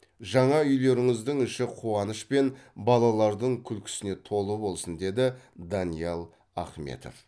жаңа үйлеріңіздің іші қуаныш пен балалардың күлкісіне толы болсын деді даниял ахметов